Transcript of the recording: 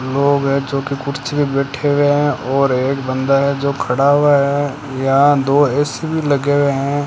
लोग है जोकी कुर्सी पे बैठे हुए है और एक बंदा है जो खड़ा हुआ है यहां दो ए_सी भी लगे हुए हैं।